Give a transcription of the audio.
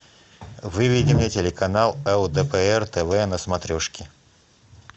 выведи мне телеканал лдпр тв на смотрешке